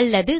அல்லது